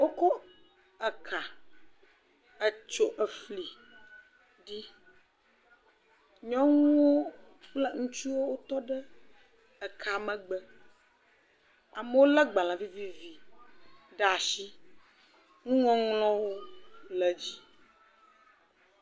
Wokɔ eka etso afli ɖi. Nyɔnuwo kple ŋutsuwo tɔ ɖe eka megbe. Amewo le gbalẽ vivivi ɖe asi. Nuŋɔŋl